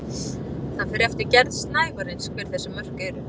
Það fer eftir gerð snævarins hver þessi mörk eru.